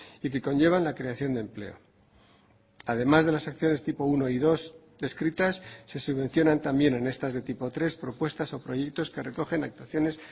y que conllevan la creación de empleo además de las acciones tipo uno y dos descritas se subvencionan también en estas de tipo tres propuestas o proyectos que recogen actuaciones